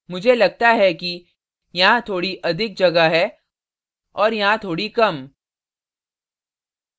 मुझे लगता है कि यहाँ थोड़ी अधिक जगह है और यहाँ थोड़ी कम